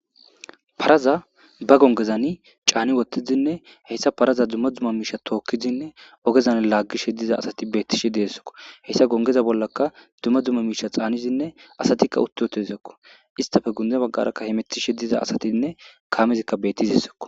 Paraza ba gongezani caani wottizinne heyssa paraza dumma dzumma miisha tookkizinne ogezan laaggishe diza asati beettishe deessoko heyssa gongeza bollaka dumma dzumma miisha xaanizinne asatikka utti wotezakko istafe gunde baggarakka hemettishe diza asatinne kaamezikka bettizissokko.